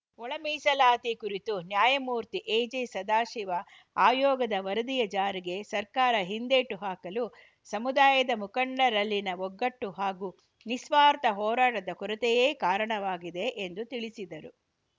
ಒಳ ಮೀಸಲಾತಿ ಕುರಿತು ನ್ಯಾಯಮೂರ್ತಿ ಎಜೆ ಸದಾಶಿವ ಆಯೋಗದ ವರದಿಯ ಜಾರಿಗೆ ಸರ್ಕಾರ ಹಿಂದೇಟು ಹಾಕಲು ಸಮುದಾಯದ ಮುಖಂಡರಲ್ಲಿನ ಒಗ್ಗಟ್ಟು ಹಾಗೂ ನಿಸ್ವಾರ್ಥ ಹೋರಾಟದ ಕೊರತೆಯೇ ಕಾರಣವಾಗಿದೆ ಎಂದು ತಿಳಿಸಿದರು